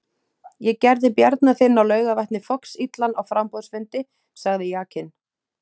Ég gerði Bjarna þinn á Laugarvatni foxillan á framboðsfundi, sagði Jakinn.